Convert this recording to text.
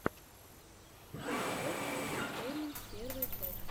шендерофф энтэтэйнмэнт первая часть